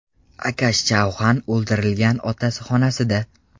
Akash Chauhan o‘ldirilgan otasi xonasida.